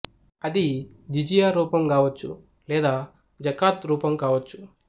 అది జిజియా రూపం గావచ్చు లేదా జకాత్ రూపం గావచ్చు